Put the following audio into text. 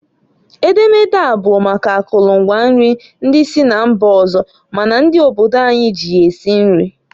Edemede a bụ maka akụlụ ngwa nri ndi si na mba ọzọ ma na ndị obodo anyị ji ya esi nri.